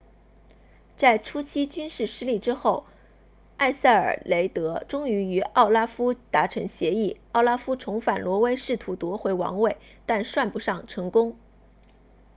在初期军事失利之后埃塞尔雷德终于与奥拉夫达成协议奥拉夫重返挪威试图夺回王位但算不上成功